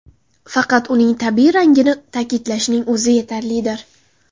Faqat uning tabiiy rangini ta’kidlashning o‘zi yetarlidir.